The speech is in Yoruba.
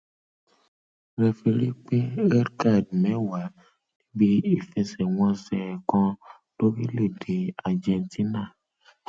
refirí pín redcard mẹwàá níbi ìfẹsẹwọnsẹ kan lórílẹèdè argentina